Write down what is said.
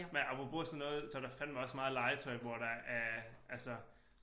Men apropos sådan noget så der fandeme også meget legetøj hvor der er altså